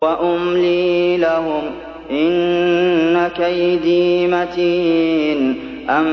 وَأُمْلِي لَهُمْ ۚ إِنَّ كَيْدِي مَتِينٌ